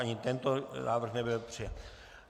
Ani tento návrh nebyl přijat.